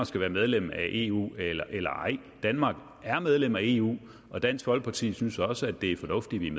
skal være medlem af eu eller eller ej danmark er medlem af eu og dansk folkeparti synes også at det er fornuftigt